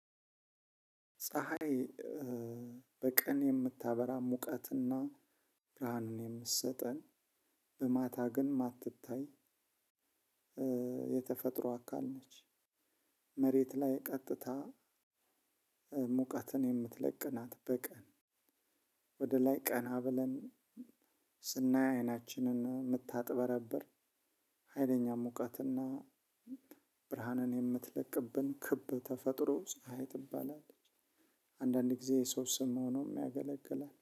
ፀሀይ በቀን የምታበራ ሙቀትና ብርሃኑን የምትሰጠን በማታ ግን የማትታይ የተፈጥሮ አካል ነች። መሬት ላይ ቀጥታ ሙቀትን የምትለቅናት በቀን ወደ ላይ ቀና ብለን ስናይ አይናችንን የምታጥበረብር ሀይለኛ ሙቀትና ብርሃንን የምትለቅብን ክብ ተፈጥሮ ፀሀይ ትባላለች። አንዳንድ ጊዜ የሰው ስም ሆኖም ያገለግላል